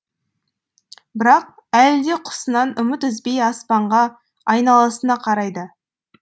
бірақ әлі де құсынан үміт үзбей аспанға айналасына қарайды